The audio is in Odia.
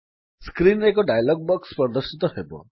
ସ୍କ୍ରୀନ୍ ରେ ଏକ ଡାୟଲଗ୍ ବକ୍ସ ପ୍ରଦର୍ଶିତ ହେବ